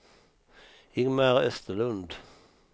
Ingmar Österlund